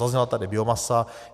Zazněla tady biomasa.